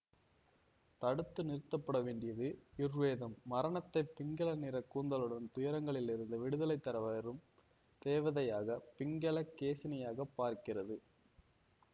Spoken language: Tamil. தடுத்து நிறுத்தப்பட வேண்டியது யுர்வேதம் மரணத்தை பிங்கலநிற கூந்தலுடன் துயரங்களிலிருந்து விடுதலை தர வரும் தேவதையாக பிங்கல கேசினியாகப் பார்க்கிறது